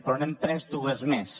però n’hem pres dues més